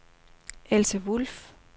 Else Wulff